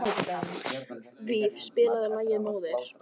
Víf, spilaðu lagið „Móðir“.